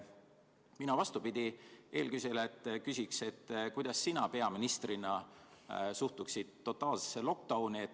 Mina vastupidi eelküsijale küsin, kuidas sina peaministrina suhtuksid totaalsesse lockdown'i.